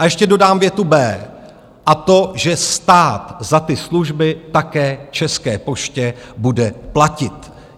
A ještě dodám větu B, a to že stát za ty služby také České poště bude platit.